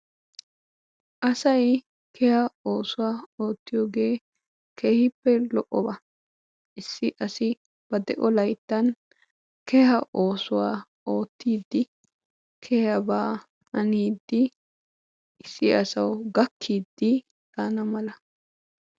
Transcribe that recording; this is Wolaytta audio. asay keha oossuwaa ootiyoogee keehippe lo'oba. asay issi asawu gakiidi daanawu maadees.